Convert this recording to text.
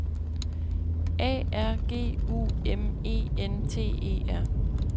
A R G U M E N T E R